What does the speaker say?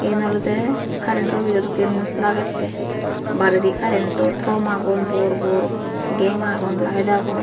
yen olode karento offijo dokken lagette bare karento tomb agon bor bor gang agon layet agon.